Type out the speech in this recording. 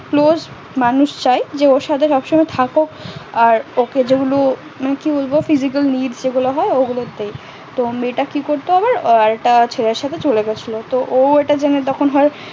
মানুষ চায় যে ওর সাথে সবসময় থাকুক আর মানে কি বলবো তো মেয়ে টা কি করতো আবার একটা ছেলের সাথে চলে গেছিলো